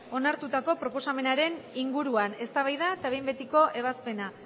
onartutako proposamenaren inguruan eztabaida eta behin betiko ebazpena